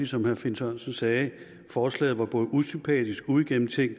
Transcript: som herre finn sørensen sagde et forslag der var både usympatisk og uigennemtænkt